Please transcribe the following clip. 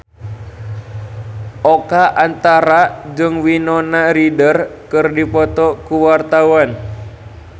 Oka Antara jeung Winona Ryder keur dipoto ku wartawan